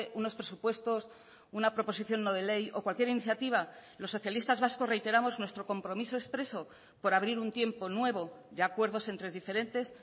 unos presupuestos una proposición no de ley o cualquier iniciativa los socialistas vascos reiteramos nuestro compromiso expreso por abrir un tiempo nuevo de acuerdos entre diferentes